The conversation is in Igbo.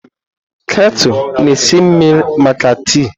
Ketu na esi mmiri maka tii.